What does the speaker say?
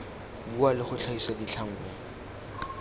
bua le go tlhagisa ditlhangwa